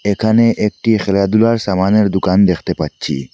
এখানে একটি খেলাধুলার সামানের দুকান দেখতে পাচ্ছি।